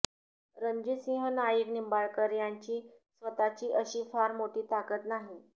रणजितसिंह नाईक निंबाळकर यांची स्वतःची अशी फार मोठी ताकद नाही